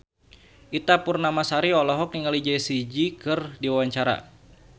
Ita Purnamasari olohok ningali Jessie J keur diwawancara